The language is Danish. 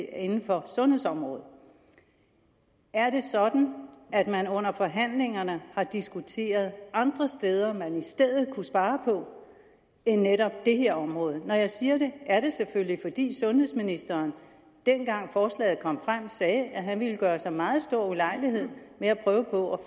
er inden for sundhedsområdet er det sådan at man under forhandlingerne har diskuteret andre steder man i stedet kunne spare på end netop det her område når jeg siger det er det selvfølgelig fordi sundhedsministeren dengang forslaget kom frem sagde at han ville gøre sig meget stor ulejlighed med at prøve på